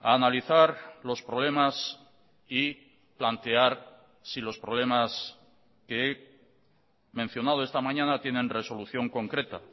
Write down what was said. a analizar los problemas y plantear si los problemas que he mencionado esta mañana tienen resolución concreta